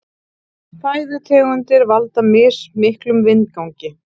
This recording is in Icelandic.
Fæðutegundir valda mismiklum vindgangi.